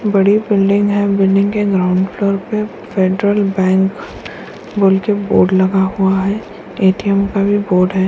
बड़ी बिल्डिंग है बिल्डिंग के ग्राउंड फ्लोर पे फेडरल बैंक बोल के बोर्ड लगा हुआ है एटीएम का भी बोर्ड है।